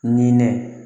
Nin ne